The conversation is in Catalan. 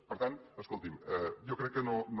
per tant escolti’m jo crec que no no